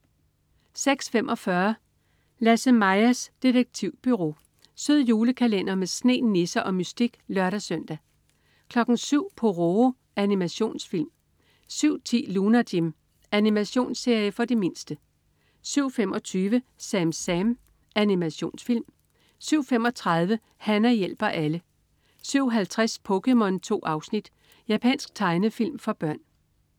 06.45 Lasse-Majas detektivbureau. Sød julekalender med sne, nisser og mystik (lør-søn) 07.00 Pororo. Animationsfilm 07.10 Lunar Jim. Animationsserie for de mindste 07.25 SamSam. Animationsfilm 07.35 Hana hjælper alle 07.50 POKéMON. 2 afsnit. Japansk tegnefilm for børn